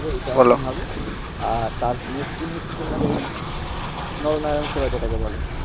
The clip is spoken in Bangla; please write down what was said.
বলো আর মধ্যে হচ্ছে তোমার নয় নয় করতে হবে